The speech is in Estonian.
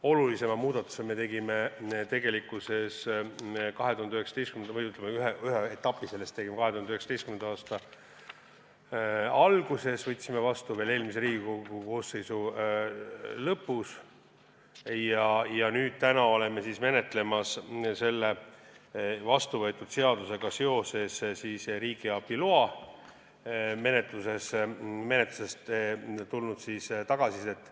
Olulisema muudatuse tegime – või, ütleme, ühe etapi sellest tegime – 2019. aasta alguses, võtsime seaduse vastu veel eelmise Riigikogu koosseisu ametiaja lõpus ja täna oleme menetlemas selle vastuvõetud seadusega seoses riigiabi loa menetlusest tulnud tagasisidet.